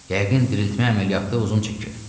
Yəqin diriltmə əməliyyatı uzun çəkib.